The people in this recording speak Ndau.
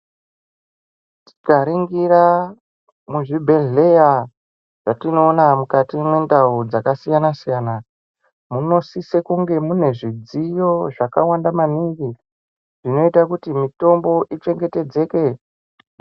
Tikaringira muzvibhedhleya zvatinoona mukati mendau dzakasiyana-siyana, munosisa kunge mune zvidziyo zvakawanda maningi zvinoite kuti mitombo ichengetedzeke.